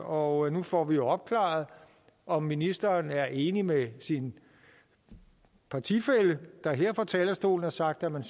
og nu får vi jo opklaret om ministeren er enig med sin partifælle der her fra talerstolen har sagt at man